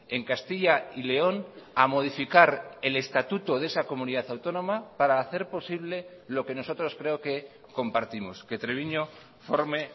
en castilla y león a modificar el estatuto de esa comunidad autónoma para hacer posible lo que nosotros creo que compartimos que treviño forme